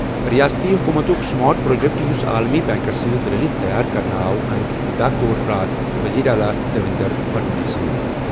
رِیاستی حکوٗمتُک smart project, یُس عالمی بیٚنٛکس سۭتۍ رٔلِتھ تیار کرنہٕ آو ، اَمیُک افتتاح کوٚر راتھ ؤزیٖر اعلیٰ دیویندر پھڑنویس سَن۔